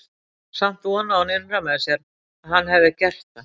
Samt vonaði hún innra með sér að hann hefði gert það.